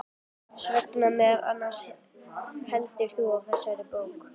Þess vegna meðal annars heldur þú á þessari bók.